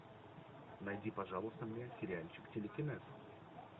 найди пожалуйста мне сериальчик телекинез